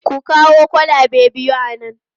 Ku kawo kwalabe biyu a nan!